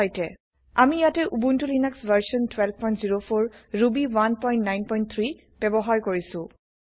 আমি ইয়াতে Ubuntu Linux version ১২০৪ Ruby ১৯৩ ব্যৱহাৰ কৰিছো